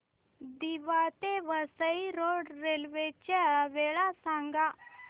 दिवा ते Vasai road railway च्या वेळा सांगा